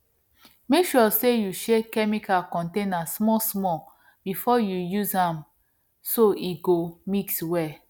make sure say you shake chemical container small small before you use am so e go mix well